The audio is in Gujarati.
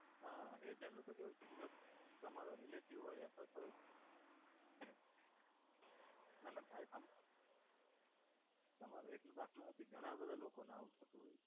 હા agent નું તો એવું છે કે જો તમારે relative હોય અથવા તો ના ના થાય આમ તમારો એક નો દાખલો નથી ઘણા બધાં લોકોનાં હોઈ શકે છે.